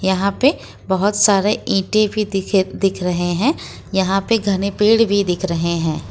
यहां पे बहुत सारे ईंटें भी दिखे दिख रहे हैं यहां पे घने पेड़ भी दिख रहे हैं।